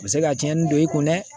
U bɛ se ka tiɲɛni don i kun dɛ